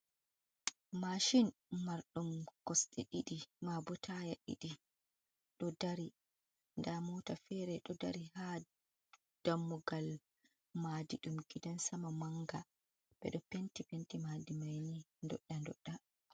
Mashin marɗum kosɗee ɗiɗi, mabo taya ɗiɗi ɗo dari, nda mota fere ɗo dari ha dammugal, madadi ɗum gidansama manga, ɓeɗo penti penti madi mani doɗɗe doɗɗe.